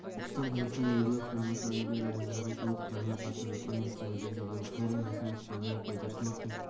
бокстан қазақстан ерлер құрамасы олимпиада ойындарына толық құраммен қатысып жатқанын естеріңізге саламыз кәрім мәсімов сондай-ақ байтұрсыновтың